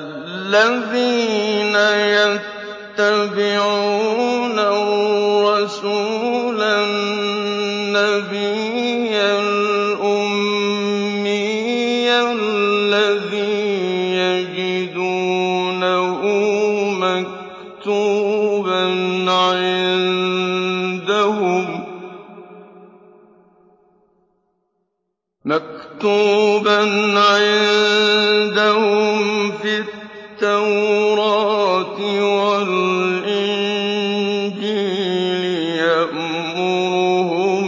الَّذِينَ يَتَّبِعُونَ الرَّسُولَ النَّبِيَّ الْأُمِّيَّ الَّذِي يَجِدُونَهُ مَكْتُوبًا عِندَهُمْ فِي التَّوْرَاةِ وَالْإِنجِيلِ يَأْمُرُهُم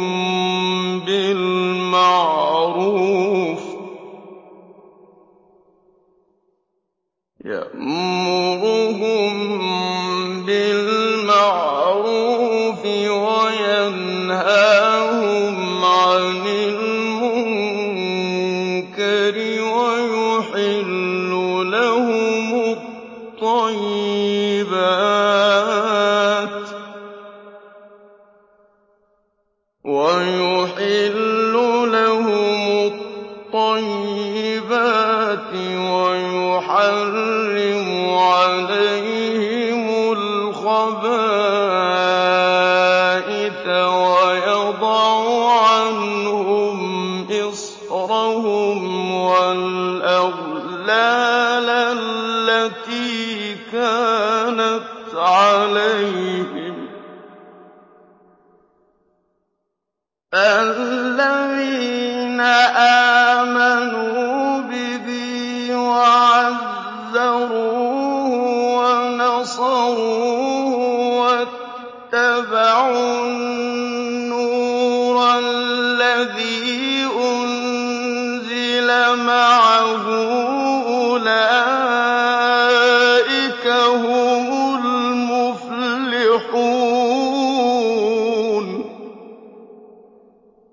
بِالْمَعْرُوفِ وَيَنْهَاهُمْ عَنِ الْمُنكَرِ وَيُحِلُّ لَهُمُ الطَّيِّبَاتِ وَيُحَرِّمُ عَلَيْهِمُ الْخَبَائِثَ وَيَضَعُ عَنْهُمْ إِصْرَهُمْ وَالْأَغْلَالَ الَّتِي كَانَتْ عَلَيْهِمْ ۚ فَالَّذِينَ آمَنُوا بِهِ وَعَزَّرُوهُ وَنَصَرُوهُ وَاتَّبَعُوا النُّورَ الَّذِي أُنزِلَ مَعَهُ ۙ أُولَٰئِكَ هُمُ الْمُفْلِحُونَ